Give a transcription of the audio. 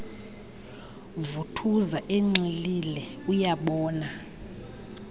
vuthuza enxilile uyabona